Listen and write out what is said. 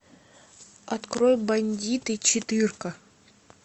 открой бандиты четырка